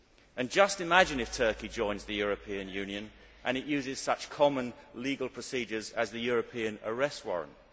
And just imagine if Turkey joins the European Union and uses such common legal procedures as the European Arrest Warrant.